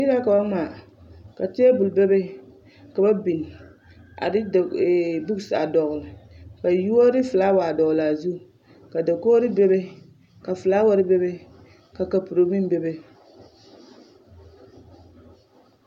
Yiri la ka ba ŋmaa ka teebul bebe ka ba biŋ a de buks a dɔɡele a da yuori ne felaawa a dɔɡele a zu ka dakoɡri bebe ka felaawɛre bebe ka kapuro meŋ bebe.